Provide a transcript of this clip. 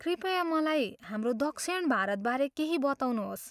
कृपया मलाई हाम्रो दक्षिण भारतबारे केही बताउनुहोस्।